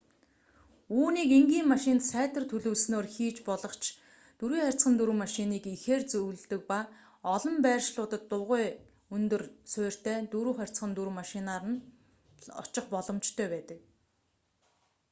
үүнийг энгийн машинд сайтар төлөвлөснөөр хийж болох ч 4х4 машиныг ихээр зөвлөдөг ба олон байршлуудад дугуйн өндөр суурьтай 4х4 машинаар л очих боломжтой байдаг